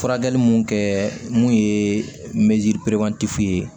Furakɛli mun kɛ mun ye mɛtiri